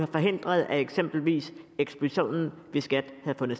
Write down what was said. forhindret at eksempelvis eksplosionen